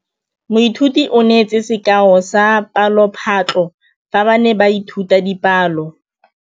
Moithuti o neetse sekaô sa palophatlo fa ba ne ba ithuta dipalo.